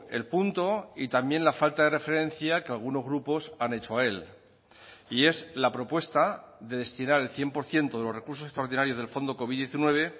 el punto y también la falta de referencia que algunos grupos han hecho a él y es la propuesta de destinar el cien por ciento de los recursos extraordinarios del fondo covid diecinueve